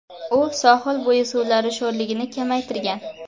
U sohilbo‘yi suvlari sho‘rligini kamaytirgan.